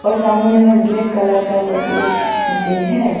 और सामने में ब्लैक कलर का कैलकुलेट मशीन है।